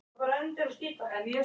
Hann býr í Sjóbúð.